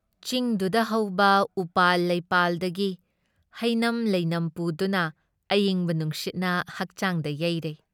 ꯆꯤꯡꯗꯨꯨꯗ ꯍꯧꯕ ꯎꯄꯥꯜ, ꯂꯩꯄꯥꯜꯗꯒꯤ ꯍꯩꯅꯝ ꯂꯩꯅꯝ ꯄꯨꯗꯨꯅ, ꯑꯏꯪꯕ ꯅꯨꯡꯁꯤꯠꯅ ꯍꯛꯆꯥꯡꯗ ꯌꯩꯔꯩ ꯫